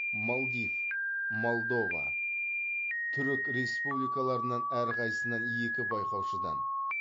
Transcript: молдив молдова түрік республикаларынан әрқайсысынан екі байқаушыдан